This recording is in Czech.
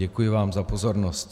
Děkuji vám za pozornost.